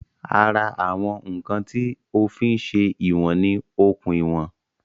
Ara àwọn ǹkan tí o fí ń se ìwọ̀n ni okùn ìwọ̀n